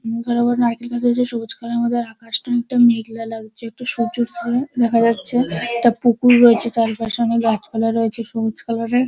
মুখের উপর নারকেল গাছ হয়েছে সবুজ কালার - এর মধ্যে আকাশটা অনেকটা মেঘলা লাগছে একটা সূর্য উঠছে দেখা যাচ্ছে একটা পুকুর রয়েছে চারিপাশে অনেক গাছপালা রয়েছে সবুজ কালার -এর ।